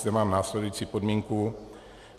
Zde mám následující připomínku.